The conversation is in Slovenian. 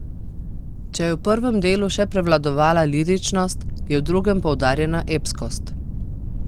Če je v prvem delu še prevladovala liričnost, je v drugem poudarjena epskost.